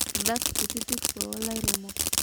Irr`dat kutitik too lairemok